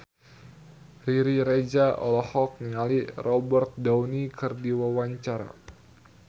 Riri Reza olohok ningali Robert Downey keur diwawancara